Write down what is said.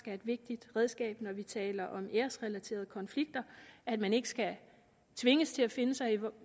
er et vigtigt redskab når vi taler om æresrelaterede konflikter at man ikke skal tvinges til at finde sig